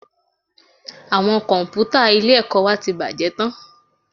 Àwọn Kọ̀m̀pútà ilé-ẹ̀kọ́ wa ti bàjẹ́ tán